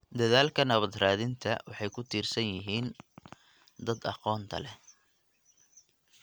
Dadaalka nabad-raadinta waxay ku tiirsan yihiin dadka aqoonta leh.